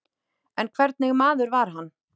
En hvernig maður var hann?